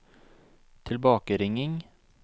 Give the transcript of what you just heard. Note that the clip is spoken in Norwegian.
tilbakeringing